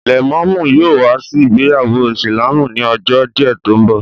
Lẹ̀mọ́mú yóò wá sí ìgbéyàwó ìsìlámù ni ọjọ́ díẹ̀ tó ń bọ̀